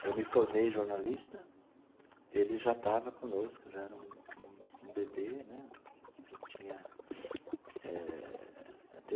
Eu me formei jornalista, ele já estava conosco, já era um um um bebê né já tinha eh.